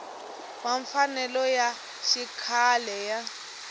wa mfanelo ya xikhale ya